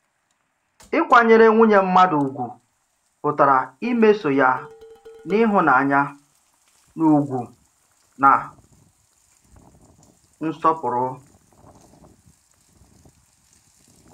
Ị̀kwànyèrè nwùnyè mmàdụ̀ ùgwu pụtara ìmèso ya n’ị̀hụ̀nánya, n’ùgwù̀ na n’ǹsọ̀pụrụ̀.